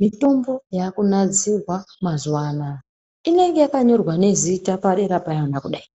Mutombo yaakunadzirwa mazuwa anaya inenge yakanyorwa nezita padera payona kudai.